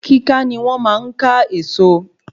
Kíka ni wón máa n ká Èèso